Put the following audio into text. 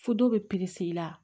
Fo dɔw bɛ i la